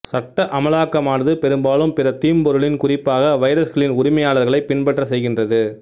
சட்ட அமலாக்கமானது பெரும்பாலும் பிற தீம்பொருளின் குறிப்பாக வைரஸ்களின் உரிமையாளர்களை பின்பற்றச் செய்கின்றது